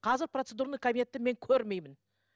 қазір процедурный кабинетті мен көрмеймін